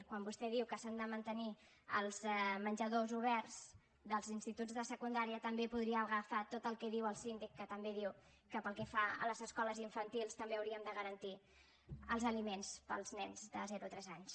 quan vostè diu que s’han de mantenir els menjadors oberts dels instituts de secundària també podria agafar tot el que diu el síndic que també diu que pel que fa a les escoles infantils també hauríem de garantir els aliments per als nens de zero a tres anys